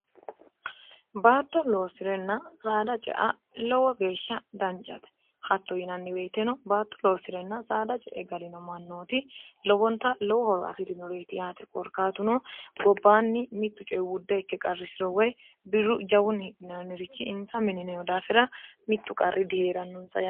baatto loosi'renna saada cea lowo geeshsha dancate hatto yinanniweyiteno baatto loosi'renna saada cee galino mannooti lobonta lowo horo afi'rinuretiy korkatuno gobbaanni mittu coye wudde ikke qarrisiro woy biru jawun hianirichi insa minineno daafira mittu qarri dihie'rannonsae